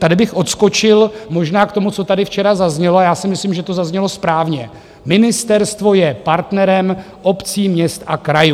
Tady bych odskočil možná k tomu, co tady včera zaznělo, a já si myslím, že to zaznělo správně, ministerstvo je partnerem obcí, měst a krajů.